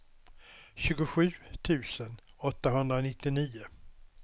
tjugosju tusen åttahundranittionio